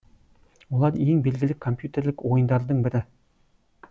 олар ең белгілі компьютерлік ойындардың бірі